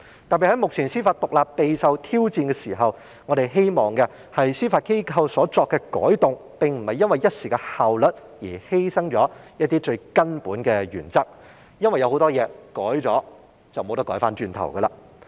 特別是目前司法獨立備受挑戰，我們希望司法機構所作的改動，並不是因為一時的效率而犧牲了一些最根本的原則，因為有很多東西改動了便無法回頭。